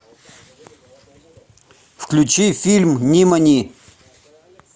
включи фильм нимани